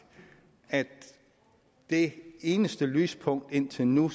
at det eneste lyspunkt indtil nu